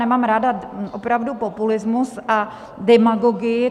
Nemám ráda opravdu populismus a demagogii.